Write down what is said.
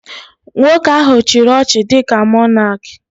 Nwoke ahụ chiri ọchịchị dịka Mọnak